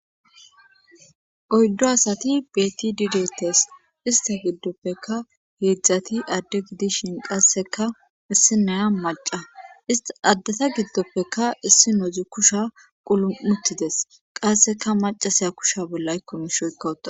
Oyddo asati beti dideetes ista giddoppeka heedzdzati adde gidishin qasseka issi naya maca ista addeta giddoppeka issi nozi kusha qulumutides qasseka macasiya kushiya bolla aykko miisha oykka uttadus..